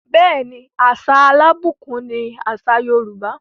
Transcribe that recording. Bẹẹni, àṣà alábùkún ni àṣà Yorùbá.